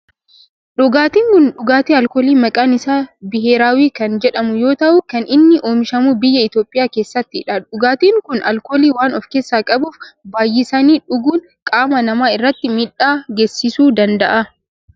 Dhugaatin kun dhugaatii alkoolii maqaan isaa biheeraawwii kan jedhamu yoo ta'u kan inni oomishamu biyya Itiyoophiyaa keessattidha. Dhugaatiin kun alkoolii waan of keessaa qabuf baayyisanii dhuguun qaama namaa irratti miidhaa geessisuu danda'a.